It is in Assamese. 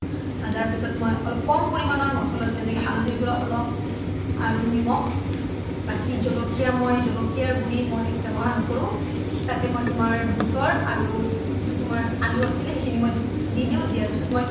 ভাজাৰ পিছত মই অলপ কম পৰিমাণৰ মচলা যেনে হালধিৰ গোৰা অলপ আৰু নিমখ বাকি জলকীয়া মই জলকীয়া গোৰি ব্যৱহাৰ নকৰোঁ তাতে মই তোমাৰ বোতৰ আৰু যিটো আলো আছিলে মই দি দিও দিয়াৰ পিছত মই